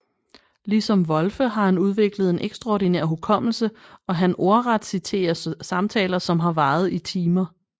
Ligesom Wolfe har han udviklet en ekstraordinær hukommelse og han ordret citere samtaler som har varet i timer